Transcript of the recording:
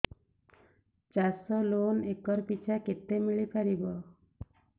ଚାଷ loan acre ପିଛା କେତେ ମିଳି ପାରିବ